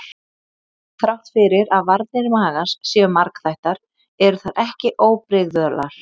Þrátt fyrir að varnir magans séu margþættar eru þær ekki óbrigðular.